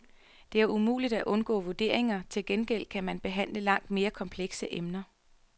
Det er umuligt at undgå vurderinger, til gengæld kan man behandle langt mere komplekse emner.